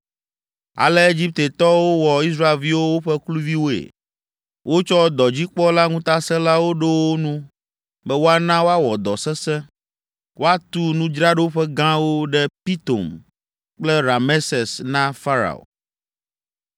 Ale Egiptetɔwo wɔ Israelviwo woƒe kluviwoe. Wotsɔ dɔdzikpɔla ŋutasẽlawo ɖo wo nu be woana woawɔ dɔ sesẽ, woatu nudzraɖoƒe gãwo ɖe Pitom kple Rameses na Farao.